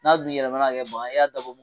N'a dun yɛlɛmana ka kɛ bana ye e y'a dabɔ